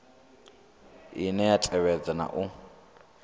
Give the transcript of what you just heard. ine ya tevhedza na u